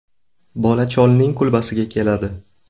Bola cholning kulbasiga keladi.